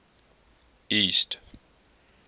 east